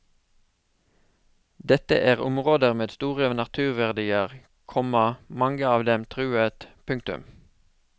Dette er områder med store naturverdier, komma mange av dem truet. punktum